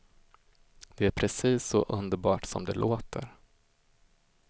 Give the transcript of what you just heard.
Det är precis så underbart som det låter.